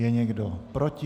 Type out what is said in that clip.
Je někdo proti?